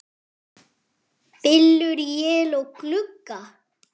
Bylur él á glugga.